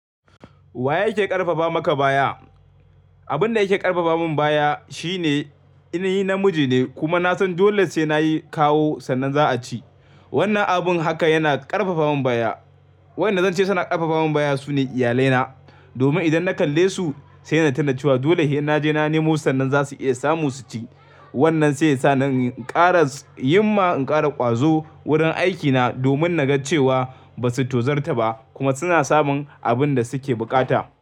Wa yake ƙarfafa maka baya? Abin da yake ƙarfafa min baya shine, ina yi namiji ne kuma na san dole sai na yi kawo sannan za a ci. Wannan abun haka yana ƙarfafa min baya. Waɗanda zan ce suna ƙarfafa min baya su ne iyalaina. Domin idan na kalle su sai na tunna cewa dole hin na je na nemo sannan za su iya samu su ci. Wannan sai sa ni in ƙara yin ma in ƙara ƙwazo wurin aikina domin na ga cewa ba su tozar ta ba kuma suna samun abin da suke buƙata.